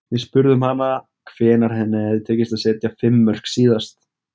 Við spurðum hana hvenær henni hefði tekist að setja fimm mörk síðast.